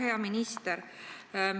Hea minister!